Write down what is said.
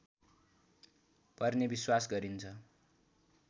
पर्ने विश्वास गरिन्छ